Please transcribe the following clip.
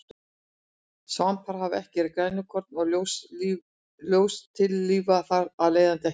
Svampar hafa ekki grænukorn og ljóstillífa þar af leiðandi ekki.